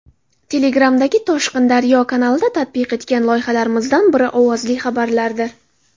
Telegram’dagi @ToshqinDaryo kanalida tatbiq etgan loyihalarimizdan biri ovozli xabarlardir.